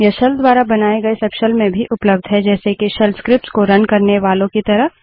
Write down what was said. यह शेल द्वारा बनाये गए सबशेल में भी उपलब्ध हैं जैसे के शेल स्क्रिप्ट्स को रन करने वालो की तरह